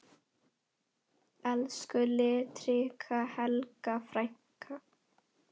Elsku litríka Helga frænka.